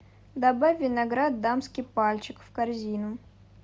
добавь виноград дамский пальчик в корзину